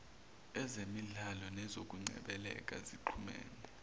ezemidlalo nezokungcebeleka zixhumene